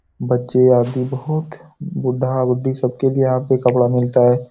बच्चे आदि बहुत बुड्ढा-बुड्ढी सबके लिए यहाँ पे कपड़ा मिलता है।